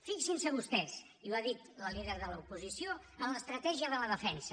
fixin se vostès i ho ha dit la líder de l’oposició en l’estratègia de la defensa